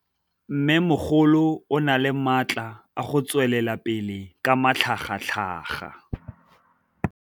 Mmêmogolo o na le matla a go tswelela pele ka matlhagatlhaga.